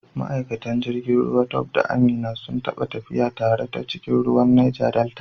Ma’aikatan jirgin ruwa Tope da Amina sun taɓa tafiya tare ta cikin ruwan Neja Delta.